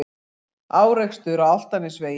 Árekstur á Álftanesvegi